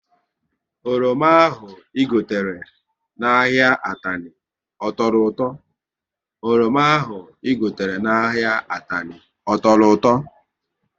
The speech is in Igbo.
Oroma ahụ I gotere n' ahịa Atani, ọ tọrọ ụtọ?